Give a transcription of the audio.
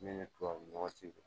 Ne ni tubabu nɔgɔ tɛ